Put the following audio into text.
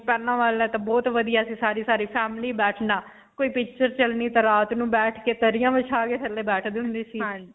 ਪਹਿਲਾਂ ਵਾਲਾ ਤਾਂ ਬਹੁਤ ਵਧੀਆ ਸੀ ਸਾਰੀ-ਸਾਰੀ family ਬੈਠਣਾ ਕੋਈ picture ਚਲਣੀ ਤਾਂ ਰਾਤ ਨੂੰ ਬੈਠ ਕੇ ਦਰੀਆਂ ਬਿਛਾ ਕੇ ਥੱਲੇ ਬੈਠਦੇ ਹੁੰਦੇ ਸੀ.